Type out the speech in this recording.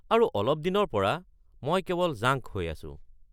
আৰু অলপ দিনৰ পৰা, মই কেৱল জাংক হৈ আছো।